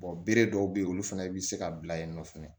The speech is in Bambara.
bere dɔw be yen olu fɛnɛ bi se ka bila yen nɔ fɛnɛ